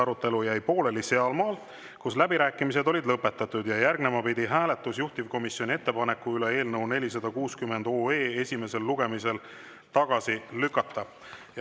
Arutelu jäi pooleli sealmaal, kui läbirääkimised olid lõpetatud ja järgnema pidi juhtivkomisjoni ettepaneku hääletus eelnõu 460 esimesel lugemisel tagasi lükata.